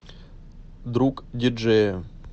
другдиджея